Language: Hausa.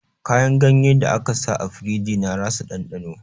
Kayan ganyen da aka sa a firiji na rasa ɗandano